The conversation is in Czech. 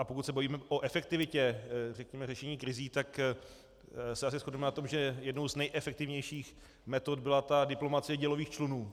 A pokud se bavíme o efektivitě řešení krizí, tak se asi shodneme na tom, že jednou z nejefektivnějších metod byla ta diplomacie dělových člunů.